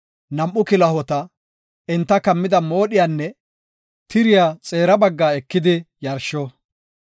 nam7u kilahota, enta kammida moodhiyanne tiriya xeera baggaa ekidi yarsho.